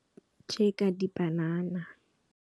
Tje ka dipanana.